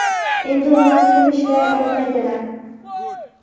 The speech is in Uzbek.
Endi ular pul ishlay olmaydilar.